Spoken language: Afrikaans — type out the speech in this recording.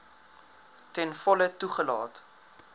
ten volle toegelaat